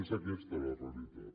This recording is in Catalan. és aquesta la realitat